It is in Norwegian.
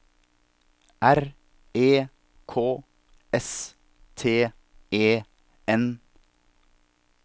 R E K S T E N